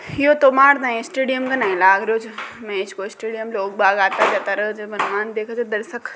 यो तो मार टी स्टेडियम का लाग रहो छ। --